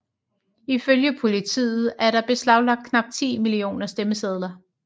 Ifølge politiet er der beslaglagt knap ti millioner stemmesedler